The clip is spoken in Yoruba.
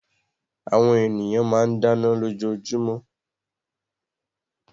Àwọn ènìyàn máa ń dáná lójoojúmọ́